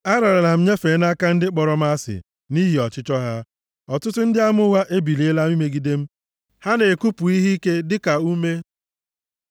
Ararala m nyefee nʼaka ndị kpọrọ m asị nʼihi ọchịchọ ha, ọtụtụ ndị ama ụgha ebiliela imegide m, ha na-ekupụ ihe ike dịka ume.